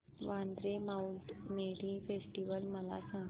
Vandre mount Mary festival मला सांग